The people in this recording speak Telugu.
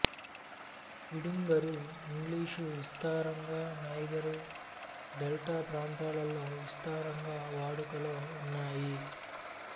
పిడింగరు ఇంగ్లీషు విస్తారంగా నైగరు డెల్టా ప్రాంతాలలో విస్తారంగా వాడుకలో ఉన్నాయి